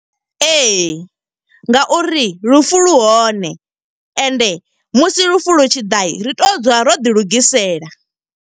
Ee, nga uri lufu lu hone ende musi lufu lu tshi ḓa ri tea u dzula ro ḓi lugisela.